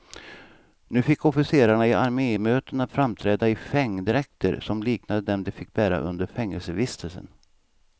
Nu fick officerarna i armémötena framträda i fängdräkter som liknade dem de fick bära under fängelsevistelsen.